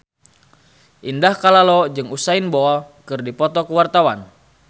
Indah Kalalo jeung Usain Bolt keur dipoto ku wartawan